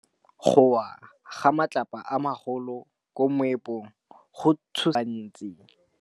Go wa ga matlapa a magolo ko moepong go tshositse batho ba le bantsi.